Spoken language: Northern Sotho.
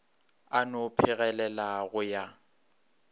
a no phegelela go ya